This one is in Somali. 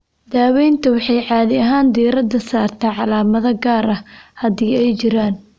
Daaweyntu waxay caadi ahaan diiradda saartaa calaamado gaar ah, haddii ay jiraan.